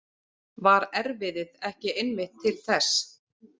Var erfiðið ekki einmitt til þess?